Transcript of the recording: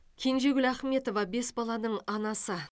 кенжегүл ахметова бес баланың анасы